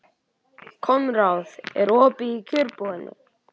Konráð, er opið í Kjörbúðinni?